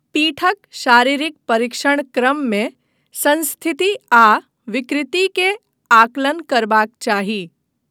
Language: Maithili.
पीठक शारीरिक परीक्षण क्रममे संस्थिति आ विकृति के आकलन करबाक चाही।